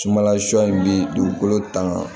Sumanla sɔ in bɛ dugukolo tanga